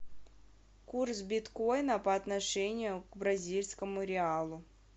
курс биткоина по отношению к бразильскому реалу